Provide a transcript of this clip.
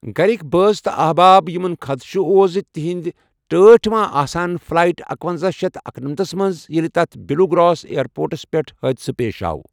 گَرِکۍ بٲژ تہٕ احباب یمن خدشہ اوس زِ تِہنٛدۍ ٹٲٹھۍ ما ٲسہن فلایٹ اکَۄنَزہ شیتھ اکَنمتھس منٛز، ییٚلہ تتھ بلیو گراس ایئرپورٹَس پیٹھ حادثہ پیش آو۔